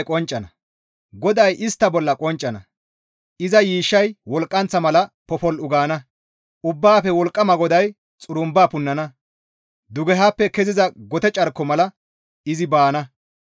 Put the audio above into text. GODAY istta bolla qonccana; iza yiishshay wolqqanththa mala popol7u gaana; Ubbaafe Wolqqama GODAY xurumba punnana. Dugehappe keziza gote carko mala izi baana.